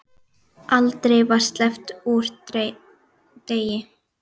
Aldrei var sleppt úr degi.